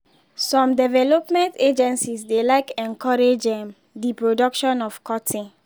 some development agencies dey like encourage um d production of cotton.